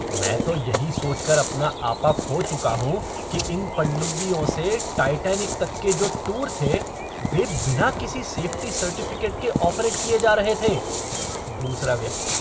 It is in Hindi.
मैं तो यही सोचकर अपना आपा खो चुका हूँ कि इन पनडुब्बियों से टाइटैनिक तक के जो टूर थे वे बिना किसी सेफ़्टी सर्टिफ़िकेट के ऑपरेट किए जा रहे थे। दूसरा व्यक्ति